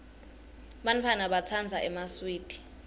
bantfwana batsandza emaswidi